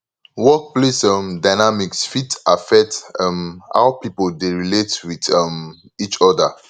workplace um dynamics fit affect um how pipo dey relate with um each oda